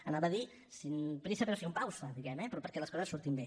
anava a dir sin prisa pero sin pausa diguem ne eh però perquè les coses surtin bé